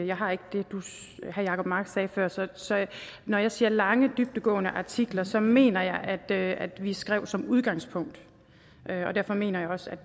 jeg har ikke det herre jacob mark sagde før så så når jeg siger lange dybdegående artikler så mener jeg at at vi skrev som udgangspunkt og derfor mener jeg også